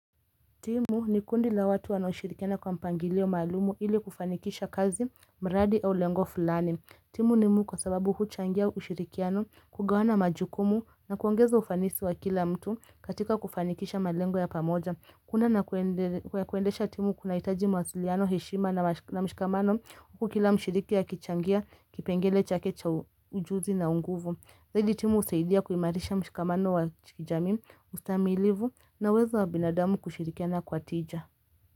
Timu ni kundi la watu wanaoushirikiana kwa mpangilio malumu ili kufanikisha kazi, mradi au lengo fulani. Timu ni muu kwa sababu huchangia ushirikiano kugawana majukumu na kuongeza ufanisi wa kila mtu katika kufanikisha malengo ya pamoja. Kuna na kuendesha timu kunahitaji mawasiliano, heshima na mshikamano huku kila mshirikia kichangia kipengele chakecha ujuzi na unguvu. Saidi timu usaidia kuimarisha mshikamano wa chikijami ustamilivu na wezo wa binadamu kushirikiana kwa tija.